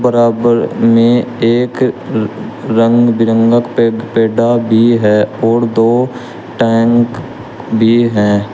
बराबर में एक र रंग बिरंगा पे पेडा भी है और दो टैंक भी हैं।